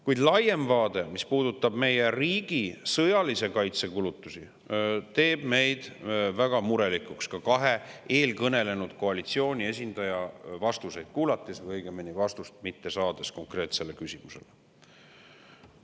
Kuid laiem vaade, mis puudutab meie riigi sõjalise kaitse kulutusi, teeb meid väga murelikuks ka kahe eelkõnelenud koalitsiooniesindaja vastuseid kuulates, õigemini konkreetsetele küsimustele vastuseid mitte saades.